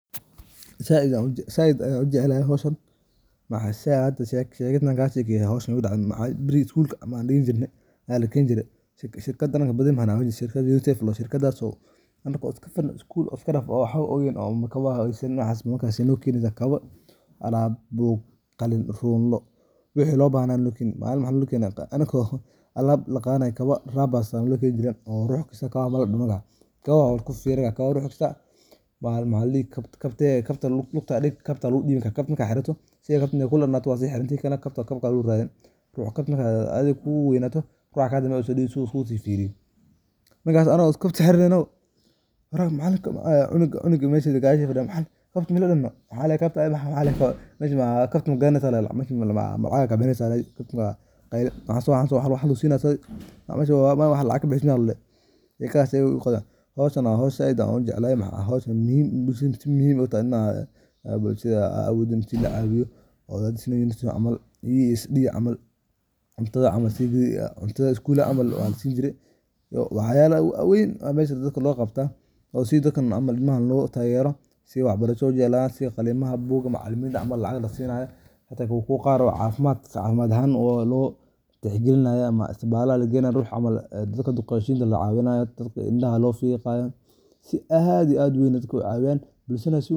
Waxbarashadu waa furaha nolosha iyo horumarka qofka iyo bulshada. Waxay qofka siinaysaa aqoon, xirfado, iyo garaad uu ku fahmo adduunka ku hareeraysan. Waxbarashadu sidoo kale waxay kobcisaa fursadaha shaqo, waxayna caawisaa in qofku ka qeyb qaato horumarinta bulshada uu ku nool yahay. Dadka wax bartay waxay leeyihiin awood ay ku xalliyaan dhibaatooyinka nolosha, waxayna horseedi karaan isbedel togan. Sidaas darteed, waxbarashada waa aas-aaska nolosha wanaagsan iyo horumarka qaranka.